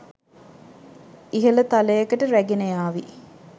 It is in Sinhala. ඉහල තලයකට රැගෙනයාවි